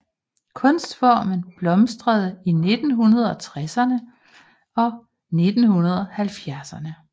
Kunstformen blomstrede i 1960erne og 1970erne